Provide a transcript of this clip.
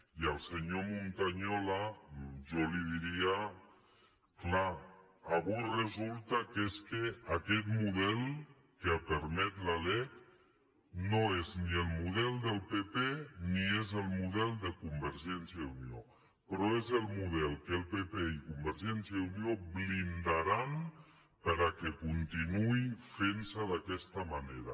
i al senyor montañola jo li diria clar avui resulta que és que aquest model que ha permès la lec no és ni el model del pp ni és el model de convergència i unió però és el model que el pp i convergència i unió blindaran perquè continuï fent se d’aquesta manera